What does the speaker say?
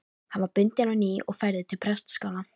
Hann var bundinn á ný og færður til prestaskála.